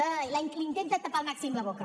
ai li intenten tapar al màxim la boca